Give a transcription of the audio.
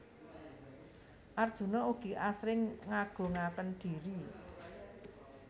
Arjuna ugi asring ngagungaken dhiri